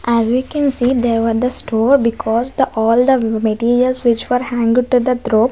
as we can see there was the store because the all the materials which were hanged to the thromb.